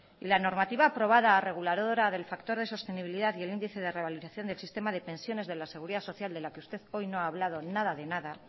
la normativa aprobada reguladora del factor de sostenibilidad y el índice de revalorización del sistema de pensiones de la seguridad social de la que usted hoy no ha hablado nada de nada